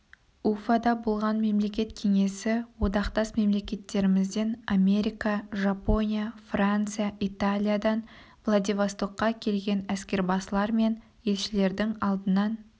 уфада болған мемлекет кеңесі одақтас мемлекеттерімізден америка жапония франция италиядан владивостокқа келген әскербасылар мен елшілердің алдынан